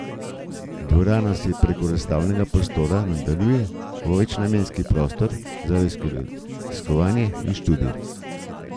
Dvorana se preko razstavnega prostora nadaljuje v večnamenski prostor za raziskovanje in študij.